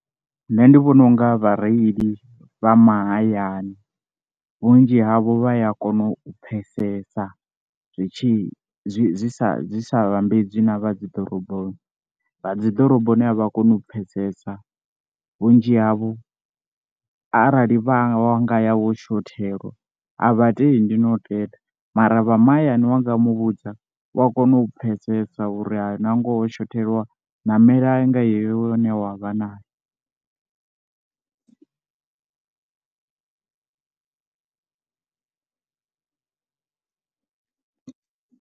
Nṋe ndi vhona unga vhareili vha mahayani vhunzhi havho vha ya kona u pfhesesa zwi tshi zwi sa zwi sa vhambedzi na vha dzi ḓoroboni, vha dziḓoroboni avha koni u pfhesesa, vhunzhi havho arali vha nga wa ya wo shothelwa a vhatendi no tenda mara vha mahayani wanga muvhudza u a kona u pfhesesa uri hai na ngoho wo shothelwa namelai nga yeyo wi une wa vha nayo.